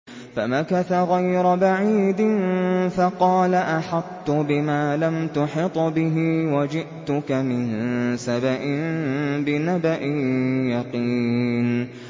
فَمَكَثَ غَيْرَ بَعِيدٍ فَقَالَ أَحَطتُ بِمَا لَمْ تُحِطْ بِهِ وَجِئْتُكَ مِن سَبَإٍ بِنَبَإٍ يَقِينٍ